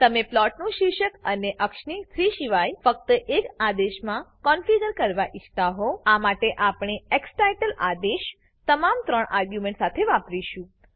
તમે પ્લોટનું શીર્ષક અને અક્ષને 3 શિવાય ફક્ત એક આદેશમાં કોન્ફીગર કરવા ઈચ્છીતા હોવ આ માટે આપણે ઝ્ટાઇટલ આદેશ તમામ 3 આર્ગ્યુંમેંટ સાથે વાપરીશું